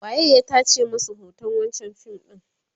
waye ya tace masu hoton wancan fim ɗin?